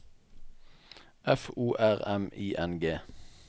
F O R M I N G